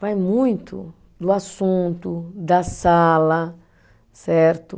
Vai muito do assunto, da sala, certo?